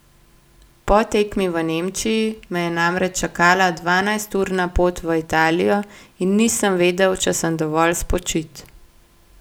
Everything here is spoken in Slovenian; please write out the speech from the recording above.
Po tekmi v Nemčiji me je namreč čakala dvanajsturna pot v Italijo in nisem vedel, če sem dovolj spočit.